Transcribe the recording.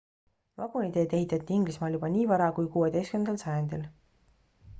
vaguniteed ehitati inglismaal juba nii vara kui 16 sajandil